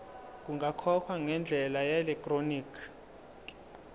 kungakhokhwa ngendlela yeelektroniki